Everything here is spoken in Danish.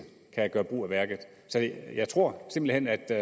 kan gøre brug af værket jeg tror simpelt hen at der